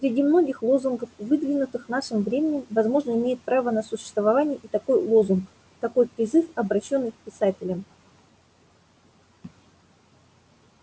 среди многих лозунгов выдвинутых нашим временем возможно имеет право на существование и такой лозунг такой призыв обращённый к писателям